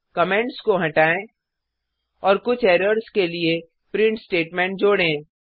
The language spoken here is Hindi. कमेंट्स को हटाएँ और कुछ एरर्स के लिए प्रिंट स्टेटमेंट जोडें